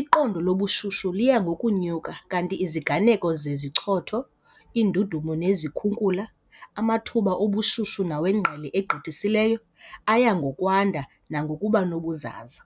Iqondo lobushushu liya ngokunyuka, kanti iziganeko zezichotho, iindudumo nezikhukula, amathuba obushushu nawengqele egqithisileyo - aya ngokwanda nangokuba nobuzaza.